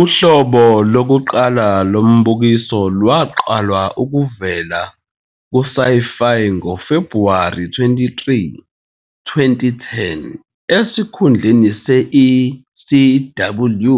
Uhlobo lokuqala lombukiso lwaqala ukuvela kuSyfy ngoFebhuwari 23, 2010, esikhundleni se- "ECW",